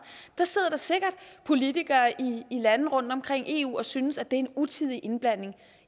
der sidder sikkert politikere i lande rundtomkring i eu der synes at det er utidig indblanding